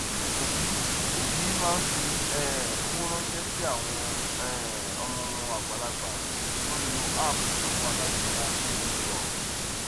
òbí òbí má n fí um owó ránṣẹ sí àwọn um ọmọ wọn àgbàlagbà tó n lo app ìsanwó alágbèéká pẹlú irọrun